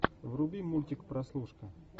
вруби мультик прослушка